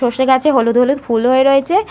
সরষে গাছে হলুদ হলুদ ফুল হয়ে রয়েছে-এ।